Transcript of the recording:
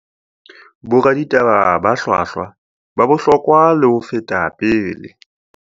Boraditaba ba hlwahlwa ba bohlokwa le ho feta pele